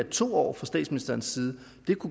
to år fra statsministerens side